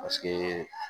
Paseke